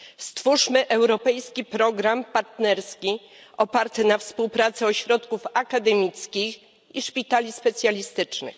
Stwórzmy europejski program partnerski oparty na współpracy ośrodków akademickich i szpitali specjalistycznych.